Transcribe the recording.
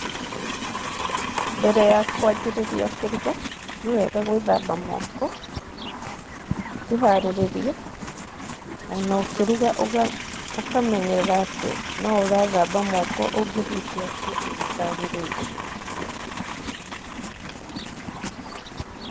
Mbere ya kwanjĩrĩria kũruga, nĩ wega gwĩthamba moko, ũkĩharĩrĩria o na ũkĩruga ũkamenyerera atĩ no ũrethamba moko ũngĩhutia kĩndũ gĩtagĩrĩire.